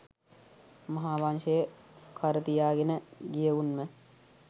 මහාවංශය කරතියාගෙන ගියවුන්ම